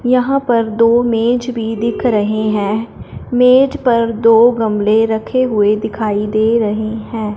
यहां पर दो मेज भी दिख रहे हैं मेज पर दो गमले रखे हुए दिखाई दे रहे हैं।